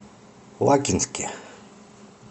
лакинске